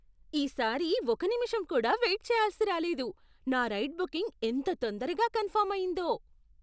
ఈ సారి ఒక నిముషం కూడా వెయిట్ చెయ్యాల్సి రాలేదు. నా రైడ్ బుకింగ్ ఎంత తొందరగా కన్ఫర్మ్ అయిందో!